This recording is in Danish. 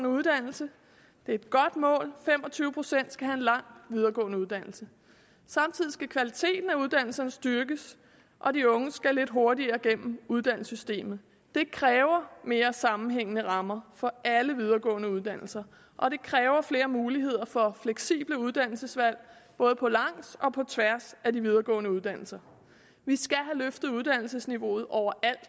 uddannelse det er et godt mål fem og tyve procent skal have en lang videregående uddannelse samtidig skal kvaliteten af uddannelserne styrkes og de unge skal lidt hurtigere igennem uddannelsessystemet det kræver mere sammenhængende rammer for alle videregående uddannelser og det kræver flere muligheder for fleksible uddannelsesvalg både på langs og på tværs af de videregående uddannelser vi skal have løftet uddannelsesniveauet overalt og